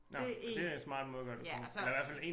Det én ja og så